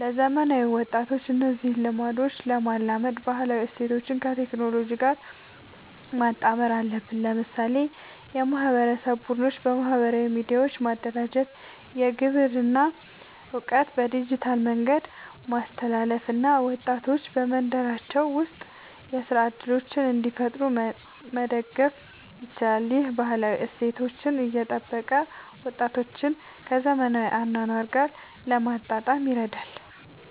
ለዘመናዊ ወጣቶች እነዚህን ልምዶች ለማላመድ ባህላዊ እሴቶችን ከቴክኖሎጂ ጋር ማጣመር አለብን። ለምሳሌ የማህበረሰብ ቡድኖችን በማህበራዊ ሚዲያ ማደራጀት፣ የግብርና እውቀትን በዲጂታል መንገድ ማስተላለፍ እና ወጣቶች በመንደራቸው ውስጥ የሥራ እድሎችን እንዲፈጥሩ መደገፍ ይቻላል። ይህ ባህላዊ እሴቶችን እየጠበቀ ወጣቶችን ከዘመናዊ አኗኗር ጋር ለማጣጣም ይረዳል።